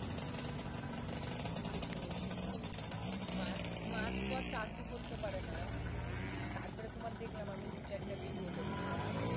সেটোই সেটোইমানে মাছ তো আর চাষী করতে পারে না তার পরে তোমার দেখলাম আমি দু চারটা video তে বুজলা